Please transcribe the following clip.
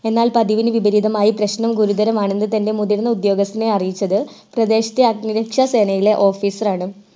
എന്നാൽ പതിവിന് വിപരീതമായി പ്രശ്നം ഗുരുതരമാണെന്ന്‌ തൻ്റെ ഉയർന്ന ഉദ്യോഗസ്ഥനെ അറിയിച്ചത് പ്രദേശത്തെ അഗ്നിരക്ഷാ സേനയുടെ officer ആണ്‌